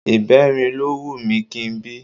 Ìbẹrin ló wù mí kí n bí